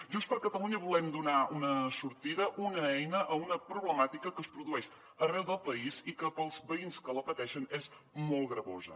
junts per catalunya volem donar una sortida una eina a una problemàtica que es produeix arreu del país i que per als veïns que la pateixen és molt gravosa